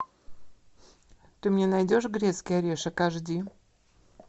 ты мне найдешь грецкий орешек аш ди